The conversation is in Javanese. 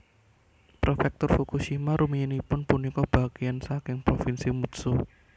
Prefektur Fukushima rumiyinipun punika bagéyan saking Provinsi Mutsu